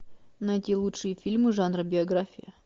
найти лучшие фильмы жанра биография